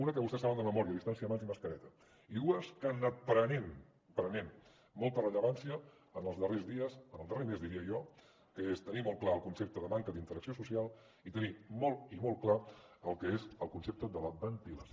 unes que vostès saben de memòria distància mans i mascareta i dues més que han anat prenent molta rellevància en els darrers dies en el darrer mes diria jo que és tenir molt clar el concepte de manca d’interacció social i tenir molt i molt clar el que és el concepte de la ventilació